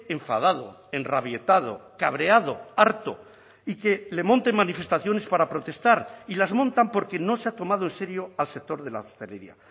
enfadado enrabietado cabreado harto y que le monten manifestaciones para protestar y las montan porque no se ha tomado en serio al sector de la hostelería